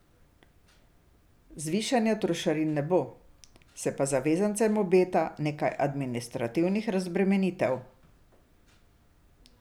Zvišanja trošarin ne bo, se pa zavezancem obeta nekaj administrativnih razbremenitev.